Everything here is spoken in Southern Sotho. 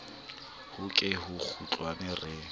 ho ke ho kgutlwa re